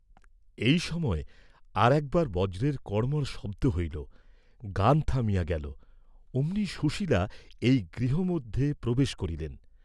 এই সময় আর একবার বজ্রের কড়মড় শব্দ হইল, গান থামিয়া গেল, অমনই সুশীলা এই গৃহ মধ্যে প্রবেশ করিলেন।